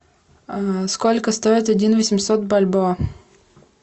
сколько стоит один восемьсот бальбоа